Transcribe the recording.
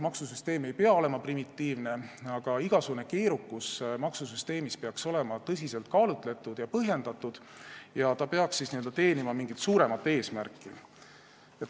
Maksusüsteem ei pea olema primitiivne, aga igasugune maksusüsteemi keerukus peab olema tõsiselt kaalutletud ja põhjendatud ning ta peab teenima mingit suuremat eesmärki.